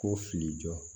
Ko fili jɔ